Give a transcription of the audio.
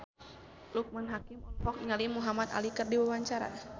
Loekman Hakim olohok ningali Muhamad Ali keur diwawancara